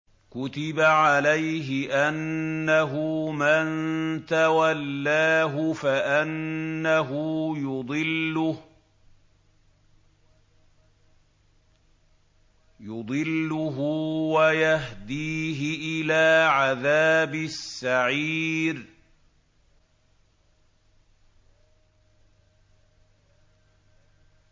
كُتِبَ عَلَيْهِ أَنَّهُ مَن تَوَلَّاهُ فَأَنَّهُ يُضِلُّهُ وَيَهْدِيهِ إِلَىٰ عَذَابِ السَّعِيرِ